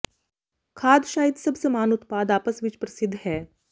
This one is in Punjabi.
ਖਾਦ ਸ਼ਾਇਦ ਸਭ ਸਮਾਨ ਉਤਪਾਦ ਆਪਸ ਵਿੱਚ ਪ੍ਰਸਿੱਧ ਹੈ